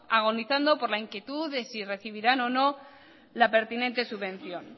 agonizando por la inquietud de si recibirán o no la pertinente subvención